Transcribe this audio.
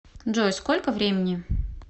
джой сколько времени